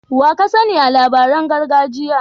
Wa ka sani a labaran gargajiya?